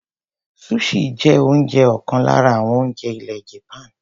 Sushi jẹ́ ọ̀kan lára àwọn oúnjẹ ilẹ̀ Japaní.